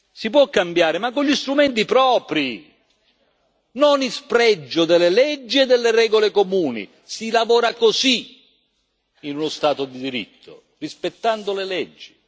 Si può cambiare ma con gli strumenti propri, non in spregio delle leggi e delle regole comuni si lavora così in uno Stato di diritto rispettando le leggi.